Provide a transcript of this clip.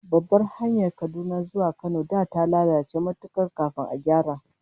Babbar hanyar Kaduna zuwa Kano da ta lalace matuka kafin a gyara